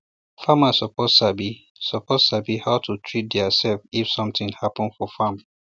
farmers suppose sabi suppose sabi how to treat theirself if something happen for farm